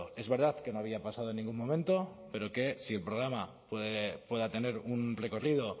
es verdad que no había pasado en ningún momento pero que si el programa pueda tener un recorrido